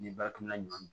Ni bakina ɲɔ